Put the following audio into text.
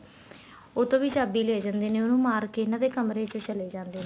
ਉਹ ਤੋ ਵੀ ਚਾਬੀ ਲੈ ਜਾਂਦੇ ਨੇ ਉਹਨੂੰ ਮਾਰਕੇ ਇਹਨਾ ਦੇ ਕਮਰੇ ਵਿੱਚ ਚਲੇ ਜਾਂਦੇ ਨੇ